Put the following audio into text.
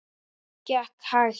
Hún gekk hægt.